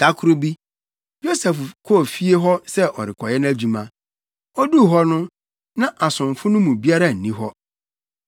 Da koro bi, Yosef kɔɔ fie hɔ sɛ ɔrekɔyɛ nʼadwuma. Oduu hɔ no, na asomfo no mu biara nni hɔ.